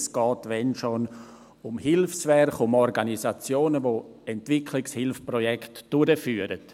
Es geht, wenn schon, um Hilfswerke, um Organisationen, die Entwicklungshilfeprojekte durchführen.